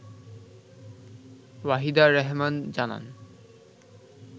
ওয়াহিদা রেহমান জানান